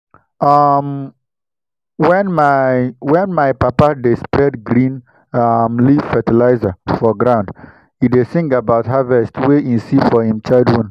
um when my when my papa dey spread green um leaf fertilizer for ground e dey sing about harvest wey e see for him childhood.